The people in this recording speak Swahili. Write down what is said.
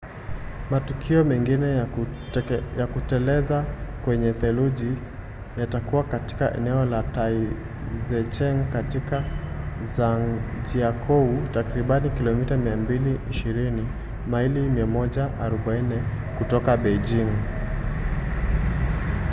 matukio mengine ya kuteleza kwenye theluji yatakuwa katika eneo la taizicheng katika zhangjiakou takribani kilomita 220 maili 140 kutoka beijing